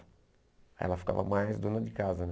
Aí ela ficava mais dona de casa.